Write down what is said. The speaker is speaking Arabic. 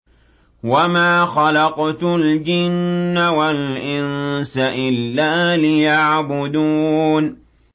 وَمَا خَلَقْتُ الْجِنَّ وَالْإِنسَ إِلَّا لِيَعْبُدُونِ